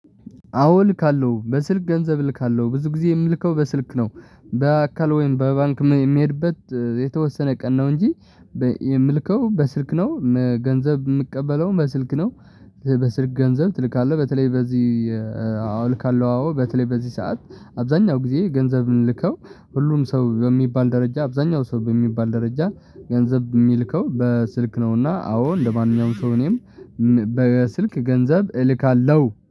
አዎ ልካለው በስልክ ገንዘብ ልካለው ብዙ ጊዜ የምልከው በስልክ ነው በአካል ወይም በባንክ የሚሄድበት የተወሰነ ቀን ነው እንጂ የምልከው በስልክ ነው። ገንዘብ የምቀበለው በስልክ ነው። በስክ ገንዘብ ትልካለህ? በተለይ በዚህ አውልካለሁ አዎ በተለይ በዚህ ሰዓት አብዛኛው ጊዜ ገንዘብን ምልከው። ሁሉም ሰው በሚባል ደረጃ አብዛኛው ሰው በሚባል ደረጃ ገንዘብ የሚልከው በስልክ ነውና። አዎ እንደማንኛውም ሰው እኔም በስልክ ገንዘብ እልካለሁ